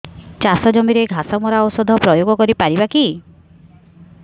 ଚାଷ ଜମିରେ ଘାସ ମରା ଔଷଧ ପ୍ରୟୋଗ କରି ପାରିବା କି